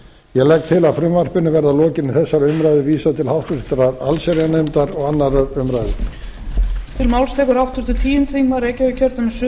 ég legg til að frumvarpinu verði að lokinni þessari umræðu vísað til háttvirtrar allsherjarnefndar og annarrar umræðu